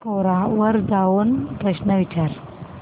कोरा वर जाऊन हा प्रश्न विचार